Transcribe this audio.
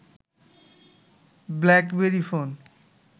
BlackBerry phone